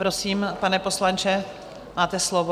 Prosím, pane poslanče, máte slovo.